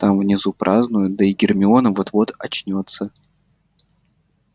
там внизу празднуют да и гермиона вот-вот очнётся